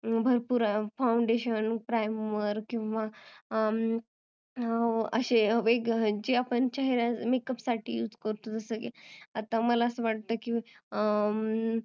भरपुर foundetion, primer किंवा असे हे आपण makeup साठी use करतो जस की आता मला अस वाटत की